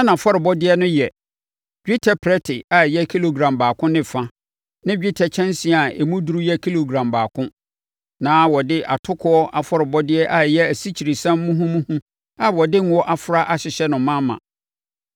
Na nʼafɔrebɔdeɛ no yɛ: dwetɛ prɛte a ɛyɛ kilogram baako ne fa ne dwetɛ kyɛnsee a emu duru yɛ kilogram baako. Na wɔde atokoɔ afɔrebɔdeɛ a ɛyɛ asikyiresiam muhumuhu a wɔde ngo afra ahyehyɛ no ma ma.